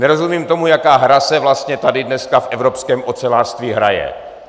Nerozumím tomu, jaká hra se vlastně tady dneska v evropském ocelářství hraje.